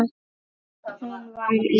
Hún var í